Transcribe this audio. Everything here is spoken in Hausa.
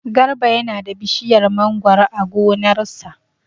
Garba yana da bishiyar mangoro a gonar sa.